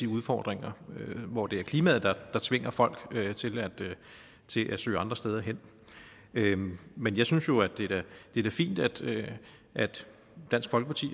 udfordringer hvor det er klimaet der tvinger folk til at søge andre steder hen men men jeg synes jo at det da er fint at dansk folkeparti